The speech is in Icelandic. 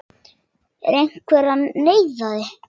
Er einhver að neyða þig?